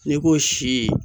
N'i ko si